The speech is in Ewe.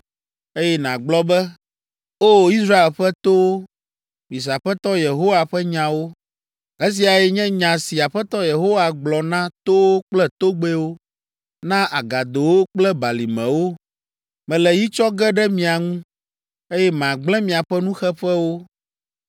eye nàgblɔ be, ‘O Israel ƒe towo, mise Aƒetɔ Yehowa ƒe nyawo. Esiae nye nya si Aƒetɔ Yehowa gblɔ na towo kple togbɛwo, na agadowo kple balimewo: mele yi tsɔ ge ɖe mia ŋu, eye magblẽ miaƒe nuxeƒewo.